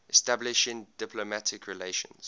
establishing diplomatic relations